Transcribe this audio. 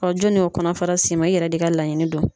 jɔni y'o kɔnɔfara s'e ma i yɛrɛ de ka laɲini do.